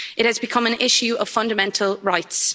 It has become an issue of fundamental rights.